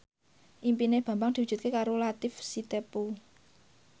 impine Bambang diwujudke karo Latief Sitepu